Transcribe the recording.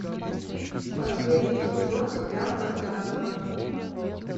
последний сезон сериал пространство